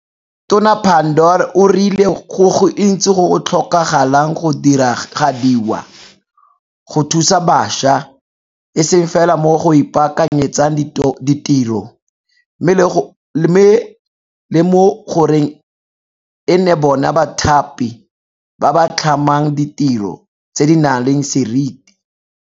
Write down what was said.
Tona Pandor o rile go gontsi go go tlhokagalang go diragadiwa, go thusa bašwa e seng fela mo go ipaakanyetseng ditiro, mme le mo goreng e nne bona bathapi ba ba tlhamang ditiro tse di nang le serite.